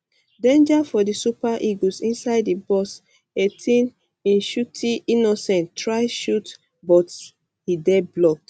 danger for di super eagles inside di um box 18 nshuti innocent try shot but e dey blocked